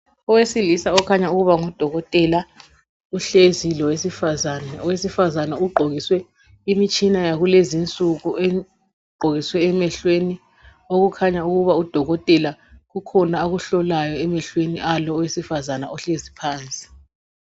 Owesilisa okhanya ukuba ngudokotela uhlezi lowesifazana. Owesifazana ugqokiswe imitshina yakulezi nsuku ugqokiswe emehlweni okukhanya ukuba udokotela kukhona akuhlolayo emehlweni alo owesifazana ohlezi phansi.